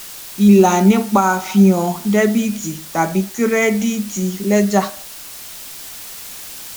ìlà nípa fi hàn dẹbìtì tàbí kírẹdíìtì lẹjà